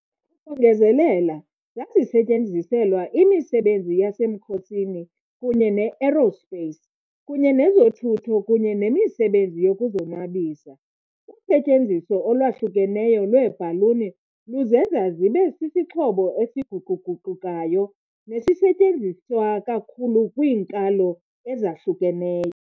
Ukongezelela, zazisetyenziselwa imisebenzi yasemkhosini kunye ne-aerospace, kunye nezothutho kunye nemisebenzi yokuzonwabisa. Usetyenziso olwahlukeneyo lweebhaluni luzenza zibe sisixhobo esiguquguqukayo nesisetyenziswa kakhulu kwiinkalo ezahlukeneyo.